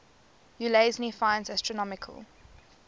ulansey finds astronomical